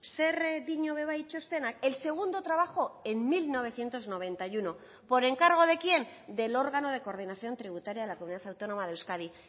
zer dio ere bai txostenak el segundo trabajo en mil novecientos noventa y uno por encargo de quién del órgano de coordinación tributaria de la comunidad autónoma de euskadi